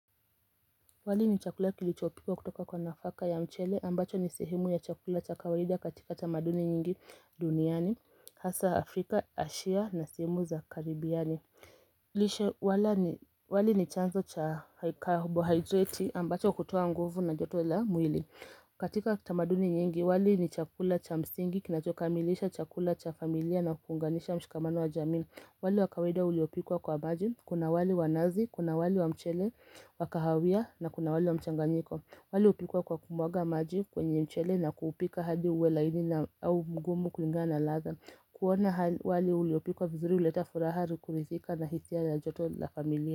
Wali ni chakula kilichopikwa kutoka kwa nafaka ya mchele ambacho ni sehemu ya chakula cha kawaida katika tamaduni nyingi duniani hasa afrika asia na sehemu za karibiani lishe wali ni chanzo cha carbohydrate ambacho hutowa nguvu na joto la mwili katika tamaduni nyingi wali ni chakula cha msingi kinachokamilisha chakula cha familia na kuunganisha mshikamano wa jamii wali wa kawaida uliopikwa kwa maji kuna wali wa nazi kuna wali wa mchele wa kahawia na kuna wali wa mchanganyiko wali upikwa kwa kumwaga maji kwenye mchele na kuupika hadi uwe laini na au mgumu kulingana ladha kuona wali uliopikwa vizuri huleta furaha kuridhika na hisia na joto la familia.